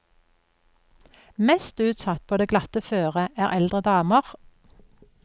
Mest utsatt på det glatte føret er eldre daner.